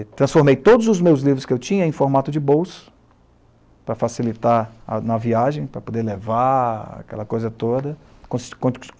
E transformei todos os meus livros que eu tinha em formato de bolso, para facilitar na viagem, para poder levar aquela coisa toda.